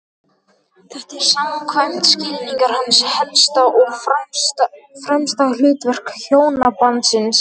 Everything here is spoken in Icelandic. Þetta er, samkvæmt skilningi hans, helsta og fremsta hlutverk hjónabandsins.